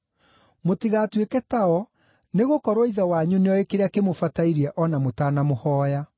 Mũtigatuĩke tao, nĩgũkorwo Ithe wanyu nĩoĩ kĩrĩa kĩmũbatairie o na mũtanamũhooya.